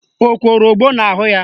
O kworo ogbo n'ahụ ya?